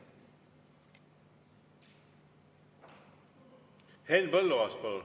Henn Põlluaas, palun!